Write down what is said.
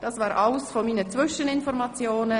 Das war alles zu meinen Zwischeninformationen.